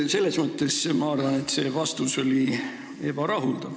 Selles mõttes ma arvan, et see vastus oli ebarahuldav.